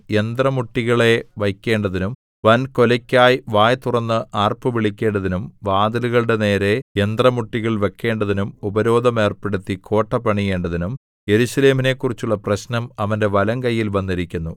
യന്ത്രമുട്ടികളെ വയ്ക്കേണ്ടതിനും വൻകൊലയ്ക്കായി വായ് തുറന്ന് ആർപ്പുവിളിക്കേണ്ടതിനും വാതിലുകളുടെ നേരെ യന്ത്രമുട്ടികൾ വയ്ക്കേണ്ടതിനും ഉപരോധം ഏർപ്പെടുത്തി കോട്ട പണിയേണ്ടതിനും യെരൂശലേമിനെക്കുറിച്ചുള്ള പ്രശ്നം അവന്റെ വലംകൈയിൽ വന്നിരിക്കുന്നു